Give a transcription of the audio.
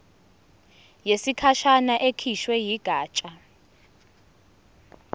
yesikhashana ekhishwe yigatsha